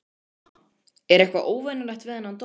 Telma: Er eitthvað óvenjulegt við þennan dóm?